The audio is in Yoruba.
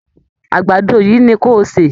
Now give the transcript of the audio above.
Àgbàdo yìí ni ko sè